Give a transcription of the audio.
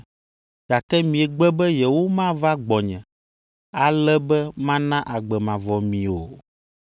gake miegbe be yewomava gbɔnye, ale be mana agbe mavɔ mi o.